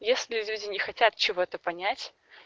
если люди не хотят чего-то понять